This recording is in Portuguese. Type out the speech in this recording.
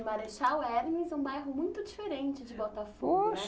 E Marechal Hermes é um bairro muito diferente de Botafogo, né?